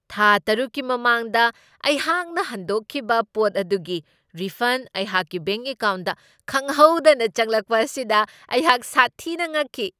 ꯊꯥ ꯇꯔꯨꯛꯀꯤ ꯃꯃꯥꯡꯗ ꯑꯩꯍꯥꯛꯅ ꯍꯗꯣꯛꯈꯤꯕ ꯄꯣꯠ ꯑꯗꯨꯒꯤ ꯔꯤꯐꯟ ꯑꯩꯍꯥꯛꯀꯤ ꯕꯦꯡꯛ ꯑꯦꯀꯥꯎꯟꯗ ꯈꯪꯍꯧꯗꯅ ꯆꯪꯂꯛꯄ ꯑꯁꯤꯗ ꯑꯩꯍꯥꯛ ꯁꯥꯊꯤꯅ ꯉꯛꯈꯤ ꯫